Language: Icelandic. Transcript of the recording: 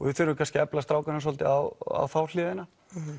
við þurfum kannski að efla strákana svolítið á þá hliðina